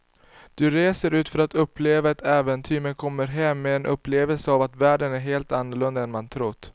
Du reser ut för att uppleva ett äventyr men kommer hem med en upplevelse av att världen är helt annorlunda än man trott.